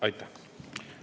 Aitäh!